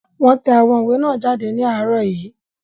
Wọ́n tẹ àwọn ìwé náà jáde ní àárọ̀ yìí